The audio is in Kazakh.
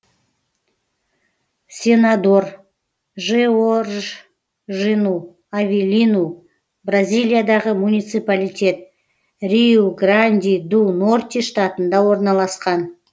сенадор жеоржину авелину бразилиядағы муниципалитет риу гранди ду норти штатында орналасқан